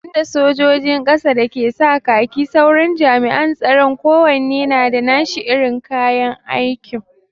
Banda sojin ƙasa da ke sa kaki, sauran jami'an tsaron kowanne na da nashi irin kayan aikin.